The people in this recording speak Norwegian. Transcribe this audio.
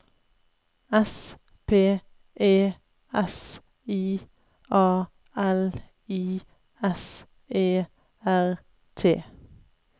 S P E S I A L I S E R T